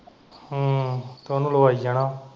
ਹਮ ਤੇ ਉਹਨੂੰ ਲਵਾਈ ਜਾਣਾ।